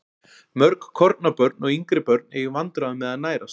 Mörg kornabörn og yngri börn eiga í vandræðum með að nærast.